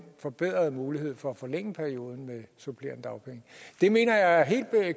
forbedrede mulighed for at forlænge perioden med supplerende dagpenge det mener jeg er helt